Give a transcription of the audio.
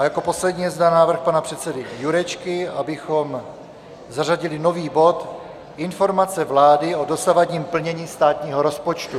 A jako poslední je zde návrh pana předsedy Jurečky, abychom zařadili nový bod Informace vlády o dosavadním plnění státního rozpočtu.